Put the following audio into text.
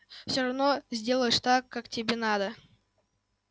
всё равно сделаешь так как тебе надо